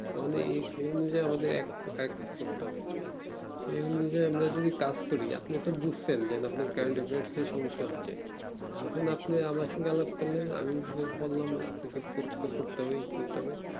তো কোন সেই অনযায়ী আমাদের এক এক করতে হবে সেই অনুযায়ীই এক এক করতে হবে সেই অনুযায়ী আমরা যদি কাজ করি আপনি তো বুজছেন যে আপনার current affairs এ সমস্যা হচ্ছে এখন আপনি আমার সঙ্গে আলাপ করলেন আমি বললাম আপনাকে পরীক্ষা করতে হবে ই করতে হবে